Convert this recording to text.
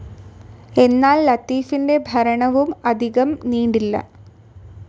എന്നാൽ ലത്തീഫിൻ്റെ ഭരണവും അധികം നീണ്ടില്ല.